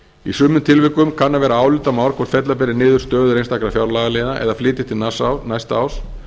í sumum tilvikum kann að vera álitamál hvort fella beri niður stöður einstakra fjárlagaliða eða flytja til næsta árs